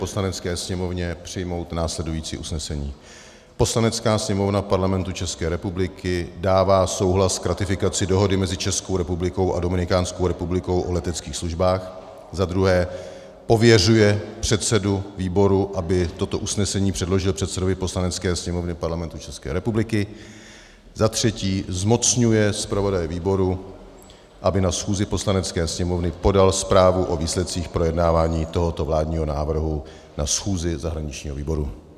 Poslanecké sněmovně přijmout následující usnesení: "Poslanecká sněmovna Parlamentu České republiky dává souhlas k ratifikaci Dohody mezi Českou republikou a Dominikánskou republikou o leteckých službách", za druhé pověřuje předsedu výboru, aby toto usnesení předložil předsedovi Poslanecké sněmovny Parlamentu České republiky, za třetí zmocňuje zpravodaje výboru, aby na schůzi Poslanecké sněmovny podal zprávu o výsledcích projednávání tohoto vládního návrhu na schůzi zahraničního výboru.